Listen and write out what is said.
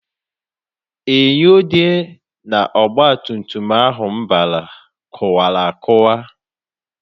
Enyo dị n' ọgbatumtum ahụ m bara kụwara akụwa.